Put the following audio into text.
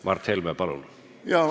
Mart Helme, palun!